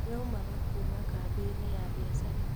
Yaumaga kuma kambĩini ya biacara.